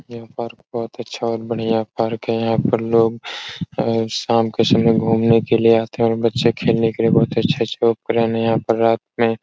यह पार्क बोहोत अच्छा और बढ़िया पार्क है। यहाँ पर लोग अ शाम के समय घूमने के लिए आते है और बच्चे खेलने के लिए बहुत अच्छा रहने यहाँ पर रत में ---